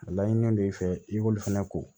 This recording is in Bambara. A laɲini don i fɛ i k'olu fɛnɛ ko